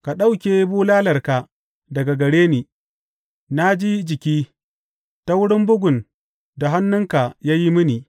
Ka ɗauke bulalarka daga gare ni; na ji jiki ta wurin bugun da hannunka ya yi mini.